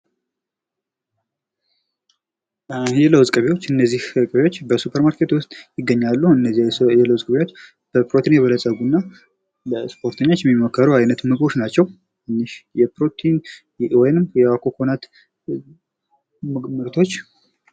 የለውዝ ቅቤዎች እነዚህ ቅቤዎች በ ሱፐር ማርኬት ውስጥ ይገኛሉ። እነዚህ የለውዝ ቅቤዎች በፕሮቲን የበለፀጉ እና ለስፖርተኞች የሚመከሩ አይነት ምግቦች ናቸው። እኒህ የፕሮቲን ወይንም የኮኮናት የምግብ ምርቶች..